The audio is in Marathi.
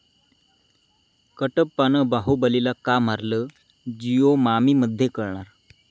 कटप्पानं बाहुबलीला का मारलं?, 'जिओ मामि'मध्ये कळणार?